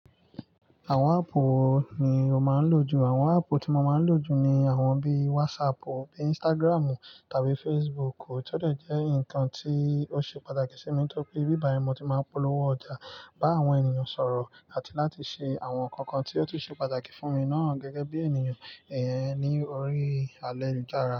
Àwọn ápp wo ni o máa ń lò jù? Àwọn áppù tí mo máa ń lò jù ni àwọn bí WhatsApp, bí Instagram tàbí Facebook. Ó tọ́ dọ̀ jẹ́ nǹkan tí ó ṣe pàtàkì sí mi nítorí ibí bàyí ni mo ti máa ń polówó ọjà, bá àwọn ènìyàn sọ̀rọ̀ àti láti ṣe àwọn nǹkan kan tí ó tún ṣe pàtàkì fún mi ná gẹ́gẹ́ bí ènìyàn ẹn ní orí ayélujára.